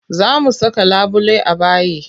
Za mu saka labule a bayi.